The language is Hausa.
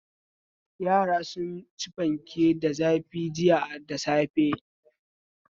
Yara sun ci fanke da zafi jiya da safe.